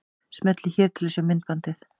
Smellið hér til að sjá myndbandið.